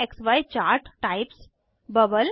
अन्य क्सी chart types 3